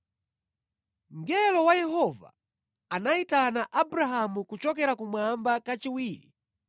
Mngelo wa Yehova anayitana Abrahamu kuchokera kumwamba kachiwiri